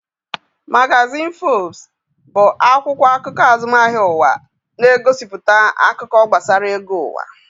Magazin Forbes bụ akwụkwọ akụkọ azụmahịa ụwa, na-egosipụta akụkọ gbasara ego ụwa